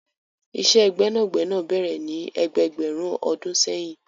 Ìṣẹ́ gbẹ́nàgbẹ́nà bẹ̀rẹ̀ ní ẹgbẹẹgbẹ̀rún ọdún seyin.